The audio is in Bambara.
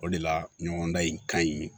O de la ɲɔgɔndan in ka ɲi